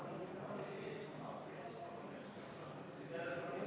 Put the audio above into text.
Kui nemad ei maksa, siis see kahtlemata seab Eesti väikeettevõtjad ebaõiglasesse olukorda.